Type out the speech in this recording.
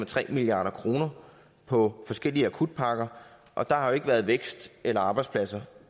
tre milliard kroner på forskellige akutpakker og der har ikke været vækst eller arbejdspladser